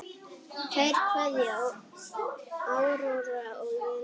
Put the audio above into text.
Kær kveðja, Áróra og Jenný.